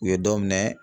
U ye dɔ minɛ